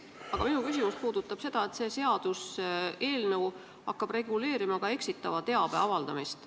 Kuid minu küsimus puudutab seda, et see seaduseelnõu hakkab reguleerima ka eksitava teabe avaldamist.